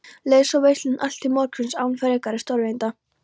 Leið svo veislan allt til morguns án frekari stórtíðinda.